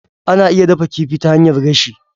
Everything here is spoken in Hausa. Ana iya dafa kifi ta hanyar gashi.